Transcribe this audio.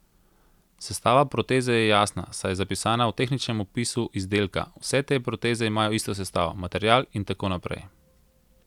Sestava proteze je jasna, saj je zapisana v tehničnem opisu izdelka, vse te proteze imajo isto sestavo, material in tako naprej.